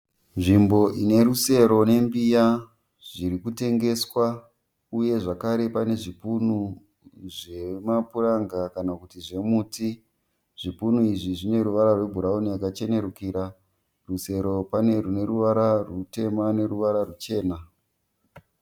Nzvimbo ine rusero nembiya zviri kutengeswa uye zvakare pane zvipunu zvemapuranga kana kuti zvemuti. Zvipunu izvi zvine ruvara rwe bhurauni yakachenerukira. Rusero pane rine ruvara rutema neruvara ruchena.